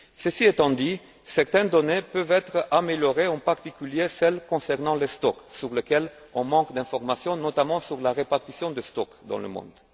Ceci étant dit, certaines données peuvent être améliorées, en particulier celles concernant les stocks sur lesquels on manque d'informations, notamment sur la répartition des stocks dans le monde.